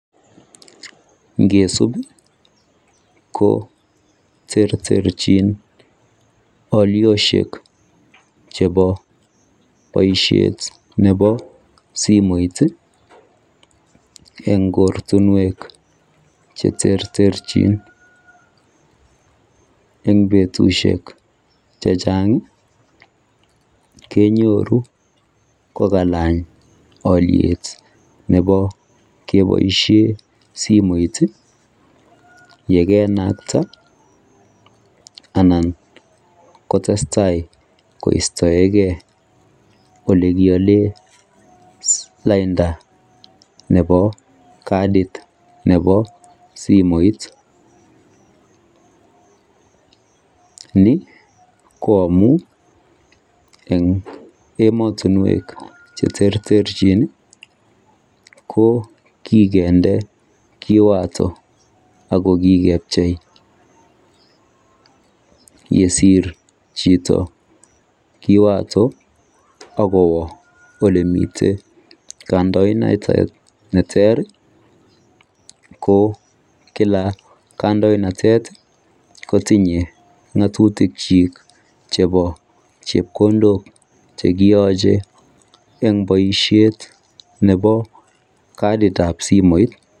Ngesub koterterchin alioshek chebo baishet Nebo simoit en oratinwek cheterterchin en betushek chechang kenyoru kokalany aliet Nebo kebaishen simoit yekenakta anan kotestai koistaegei lainda Nebo kadit nebo simoit Ni koamun en ematunwek cheterterchin ko kikende kiwato akokikepchei yesir Chito kiwato agowa olemiten kandoinatet neter ko kila kandoinatet kotinye ngatutik chik chebo chepkondok cheyache en baishet Nebo kadit ab simoit